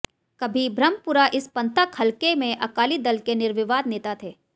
कभी ब्रह्मपुरा इस पंथक हलके में अकाली दल के निर्विवाद नेता थे